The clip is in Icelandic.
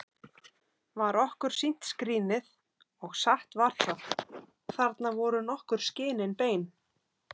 Var okkur sýnt skrínið, og satt var það: Þarna voru nokkur skinin bein!